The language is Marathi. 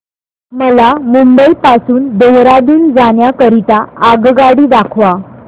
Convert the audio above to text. मला मुंबई पासून देहारादून जाण्या करीता आगगाडी दाखवा